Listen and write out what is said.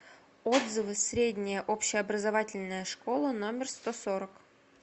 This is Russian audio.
отзывы средняя общеобразовательная школа номер сто сорок